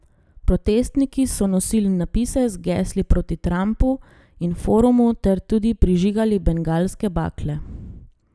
Protestniki so nosili napise z gesli proti Trumpu in forumu ter tudi prižigali bengalske bakle.